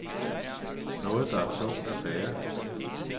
Noget der er tungt at bære.